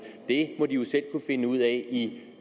det må de jo selv kunne finde ud af i